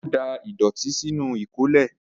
Ó da ìdọ̀tí sínú ìkólẹ̀.